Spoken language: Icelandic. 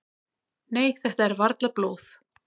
"""Nei, þetta er varla blóð."""